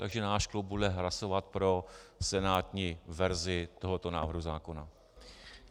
Takže náš klub bude hlasovat pro senátní verzi tohoto návrhu zákona.